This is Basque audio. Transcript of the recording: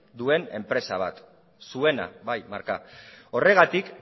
duen enpresa bat zuena bai marka horregatik